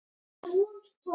Og voða sætt.